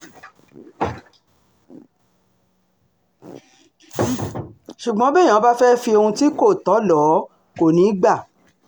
ṣùgbọ́n béèyàn bá fẹ́ẹ́ fi ohun tí kò tọ́ lò ó kò ní í gbà